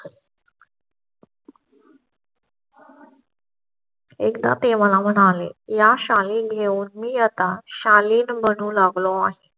एकदा ते मला म्हणाले, या शाळे घेऊन मी आता शालिनी म्हणू लागलो आहे.